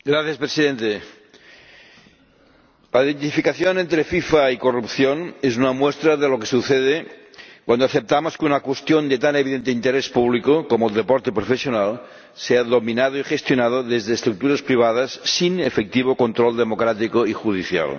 Señor Presidente, la identificación entre FIFA y corrupción es una muestra de lo que sucede cuando aceptamos que una cuestión de tan evidente interés público como el deporte profesional sea dominada y gestionada desde estructuras privadas sin efectivo control democrático y judicial.